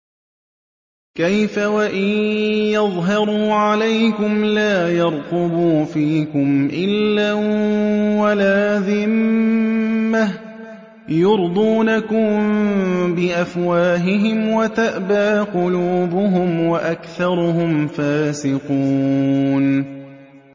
كَيْفَ وَإِن يَظْهَرُوا عَلَيْكُمْ لَا يَرْقُبُوا فِيكُمْ إِلًّا وَلَا ذِمَّةً ۚ يُرْضُونَكُم بِأَفْوَاهِهِمْ وَتَأْبَىٰ قُلُوبُهُمْ وَأَكْثَرُهُمْ فَاسِقُونَ